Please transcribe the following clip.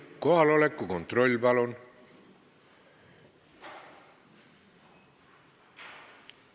Kohaloleku kontroll, palun!